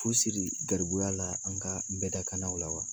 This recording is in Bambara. Fu siri garibuya la an ka bɛdakannaw la wa.